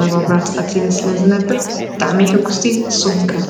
ብሓባር ክነብሩን ክረዳዳኡን ይገብር።